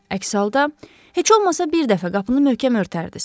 Əks halda, heç olmasa bir dəfə qapını möhkəm örtərdiz.